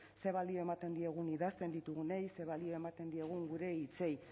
zer balio ematen diegun idazten ditugunei zer balioa ematen diegun gure hitzei